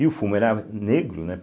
E o fumo era negro, né?